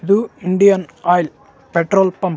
ಹ್ಹು ಬೈಕಗಳಿಗೆ ಪೆಟ್ರೊಲನ್ನು ಮತ್ತು ಕಾರು --